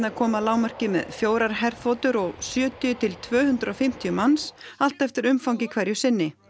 koma að lágmarki með fjórar herþotur og sjötíu til tvö hundruð og fimmtíu manns allt eftir umfangi hverju sinni